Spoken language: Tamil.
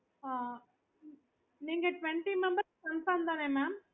நீங்க train ல தா போறீங்களா இல்ல எப்படி